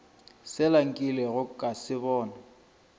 sela nkilego ka se bona